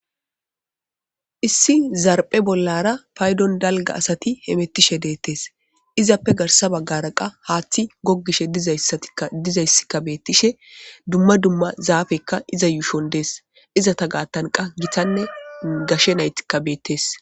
issi zarphe bollara paydon dalga asati hemettishe deettes izappe garsa baggara qa haaththi gogishe dizayssatia dizayssikka beettishe dumma dumma zaafekka iza yuushon dees iza ta gaattanqa gitanne gashe naytikka beettees